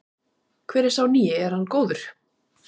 Hvernig er sá nýi, er hann góður?